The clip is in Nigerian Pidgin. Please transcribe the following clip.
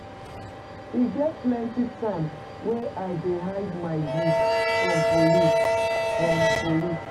E get plenty times wey I dey hide my goods from police. from police.